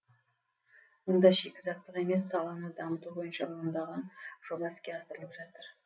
мұнда шикізаттық емес саланы дамыту бойынша ондаған жоба іске асырылып жатыр